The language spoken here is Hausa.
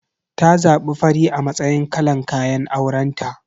Ta zabi fari a matsayin kalan kayan aurenta.